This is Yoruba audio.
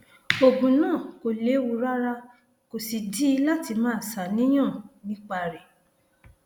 oògùn náà kò léwu rárá kò sídìí láti máa ṣàníyàn nípa rẹ